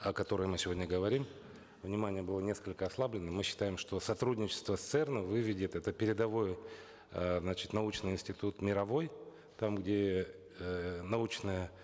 о которой мы сегодня говорим внимание было несколько ослаблено мы считаем что сотрудничество с церн ом выведет это передовой э значит научный институт мировой там где эээ научная